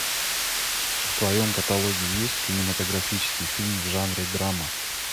в твоем каталоге есть кинематографический фильм в жанре драма